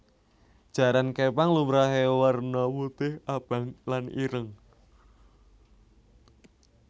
Jaran képang lumrahé warna putih abang lan ireng